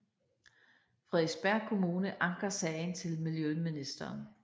Frederiksberg Kommune anker sagen til miljøministeren